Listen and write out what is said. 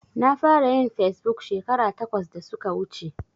Na fara yin fesbuk shekara takwas da suka wuce.